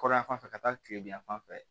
Kɔrɔnyan fan fɛ ka taa kile bi yan fan fɛ